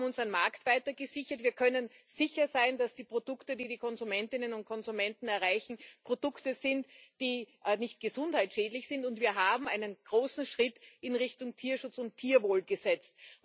Wir haben unseren Markt weiter gesichert, wir können sicher sein, dass die Produkte, die die Konsumentinnen und Konsumenten erreichen, Produkte sind, die nicht gesundheitsschädlich sind, und wir haben einen großen Schritt in Richtung Tierschutz und Tierwohl gemacht.